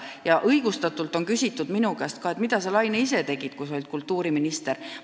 Päris õigustatult on ka minu käest küsitud: "Mida sa, Laine, ise tegid, kui sa olid kultuuriminister?